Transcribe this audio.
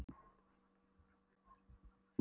var samband okkar frá öndverðu náið og gott.